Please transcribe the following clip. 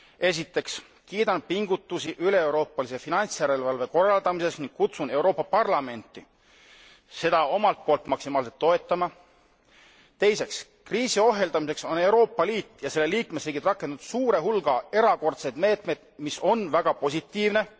Esiteks kiidan pingutusi üleeuroopalise finantsjärelevalve korraldamisel ning kutsun Euroopa Parlamenti seda omalt poolt maksimaalselt toetama. Teiseks, kriisiohjeldamiseks on Euroopa Liit ja selle liikmesriigid rakendanud suure hulga erakordseid meetmeid, mis on väga positiivne.